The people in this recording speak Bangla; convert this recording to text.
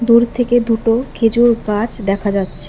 দূর থেকে দুটো খেজুর গাছ দেখা যাচ্ছে।